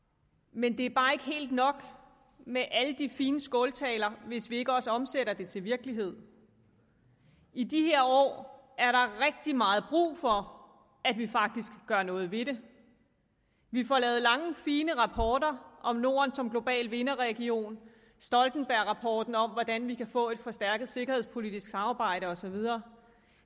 men det er bare ikke helt nok med alle de fine skåltaler hvis vi ikke også omsætter det til virkelighed i de her år er der rigtig meget brug for at vi faktisk gør noget ved det vi får lavet lange fine rapporter om norden som global vinderregion vi stoltenbergrapporten om hvordan vi kan få et forstærket sikkerhedspolitisk samarbejde og så videre